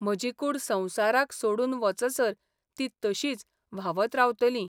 म्हजी कूड संवसाराक सोडून वचसर ती तशींच व्हावत रावतलीं.